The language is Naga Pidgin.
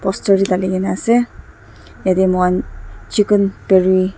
poster de dali kina ase yete mukan chicken peri .